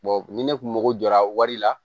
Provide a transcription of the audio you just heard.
ni ne kun mako jɔra wari la